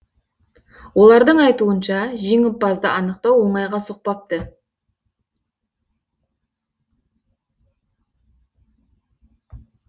олардың айтуынша жеңімпазды анықтау оңайға соқпапты